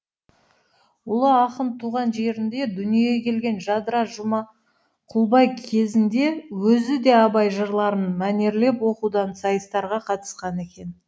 ұлы ақын туған жерінде дүниеге келген жадыра жұмакүлбай кезінде өзі де абай жырларын мәнерлеп оқудан сайыстарға қатысқан екен